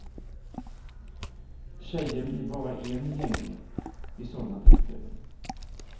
Tjejen blir bara en i gänget vid sådana tillfällen.